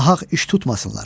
Nahaq iş tutmasınlar.